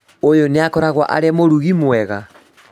ũyũ nĩakoragwo arĩ mũrugi mwega?